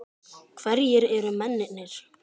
Hverjir eru mennirnir?